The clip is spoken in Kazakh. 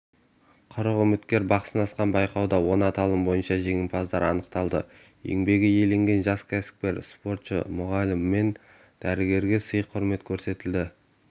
қырық үміткер бақ сынасқан байқауда он аталым бойынша жеңімпаздар анықталды еңбегі еленген жас кәсіпкер спортшы мұғалім мен дәрігерге сый-құрмет көрсетілді